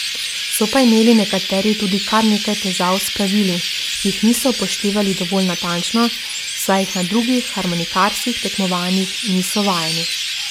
So pa imeli nekateri tudi kar nekaj težav s pravili, ki jih niso upoštevali dovolj natančno, saj jih na drugih harmonikarskih tekmovanjih niso vajeni.